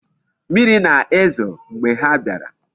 Mmiri na-ezo mgbe ha biara.